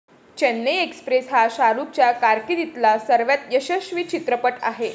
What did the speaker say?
Chennai Express हा शाहरुखच्या कारकिर्दीतला सर्वात यशस्वी चित्रपट आहे.